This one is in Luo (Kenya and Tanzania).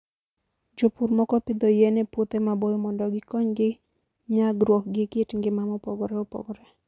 Jopur moko pidho yien e puothe maboyo mondo gikonygi nyagruok gi kit ngima mopogore opogore.